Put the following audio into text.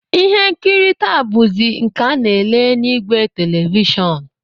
Ihe nkiri taa bụzi nke a na-ele n'ìgwè televishọn